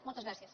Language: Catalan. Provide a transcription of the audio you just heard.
moltes gràcies